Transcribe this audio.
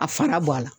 A fana bɔ a la